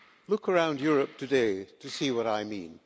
Look around Europe today to see what I mean.